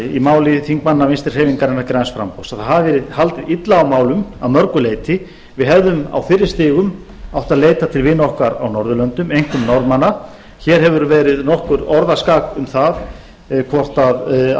í máli þingmanna vinstri hreyfingarinnar græns framboðs að það hafi verið haldið illa á málum að mörgu leyti við hefðum á fyrri stigum átt að leita til vina okkar á norðurlöndum einkum norðmanna hér hefur verið nokkuð orðaskak um það hvort að